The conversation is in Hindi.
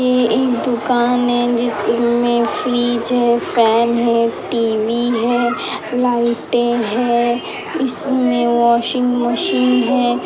ई ई दुकान में जिसमें फ्रीज है फैन है टी.वी. है लाइटे हैं। इसमें वाशिंग मशीन है।